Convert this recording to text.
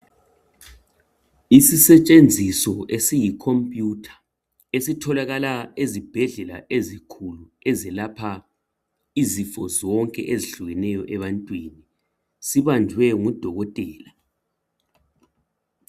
Isisetshenziso esiyi computer esitholakala ezibhedlela ezinkulu ezelapha izifo zonke ezihlukeneyo ebantwini sibanjwe ngudokotela.